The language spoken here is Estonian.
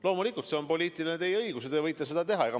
Loomulikult, see on teie poliitiline õigus ja te võite seda teha.